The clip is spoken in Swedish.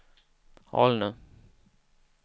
Alnö